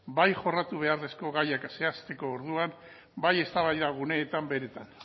bai jorratu beharreko gaiak zehazteko orduan bai eztabaida guneetan beretan